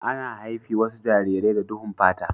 Ana haifi wasu jarirai da duhun fata.